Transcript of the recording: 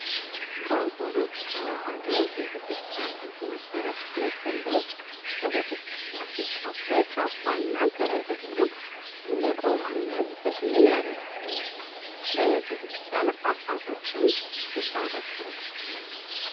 በኦርቶዶክስ ተዋህዶ ቤተክርስቲያን ህግ መሰረት ሁለት ጥንዶች በቤተክርስቲያን ሲጋቡ ካባ እና ከላይ ደግሞ እንደ ቆብ አይነት ተክሊል ያደጋሉ። በቤተክርስቲያን አባቶችም ይባረካሉ።